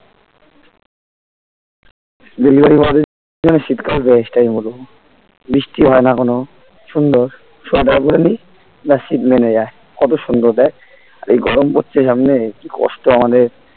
delivery boy দের জন্য শীতকাল best আমি বলবো বৃষ্টি হয়না কোন সুন্দর সোয়েটার পরে নি বেশ শীত মেনে যায় কত সুন্দর দেখ আর এই গরম পড়ছে সামনে একি কষ্ট আমাদের